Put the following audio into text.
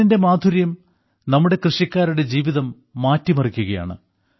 തേനിന്റെ മാധുര്യം നമ്മുടെ കൃഷിക്കാരുടെ ജീവിതം മാറ്റിമറിയ്ക്കുകയാണ്